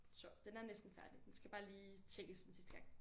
Så den er næsten færdig den skal bare lige tjekkes en sidste gang